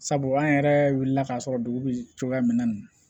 Sabu an yɛrɛ wulila k'a sɔrɔ dugu bɛ cogoya min na